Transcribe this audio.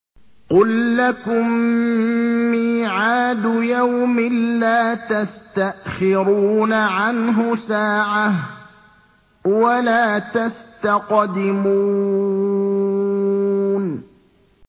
قُل لَّكُم مِّيعَادُ يَوْمٍ لَّا تَسْتَأْخِرُونَ عَنْهُ سَاعَةً وَلَا تَسْتَقْدِمُونَ